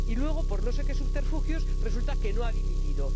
Y luego, por no sé qué subterfugios, resulta que no ha dimitido.